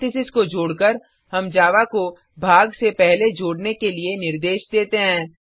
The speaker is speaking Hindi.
पैरेंथेसिस को जोडकर हम जावा को भाग से पहले जोडने के लिए निर्देश देते हैं